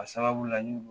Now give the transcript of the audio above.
A sababu la n ye